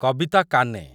କବିତା କାନେ